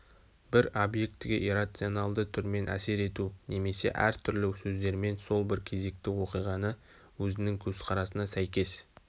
бір обьектіге иррационалды түрмен әсер ету немесе әр түрлі сөздермен сол бір кезекті оқиғаны өзінің көзқарасына сәйкес